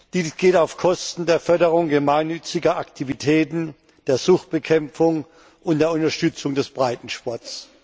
Dies geht auf Kosten der Förderung gemeinnütziger Aktivitäten, der Suchtbekämpfung und der Unterstützung des Breitensports.